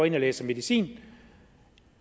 ind og læser medicin